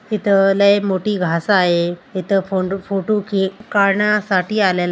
इथ लय मोठी घास आहे इथे फोटो क का काढण्यासाठी आले--